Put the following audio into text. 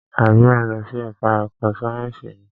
Àbí o ń lọ sí ẹka ẹ̀kọ́ sáyẹnsì ni?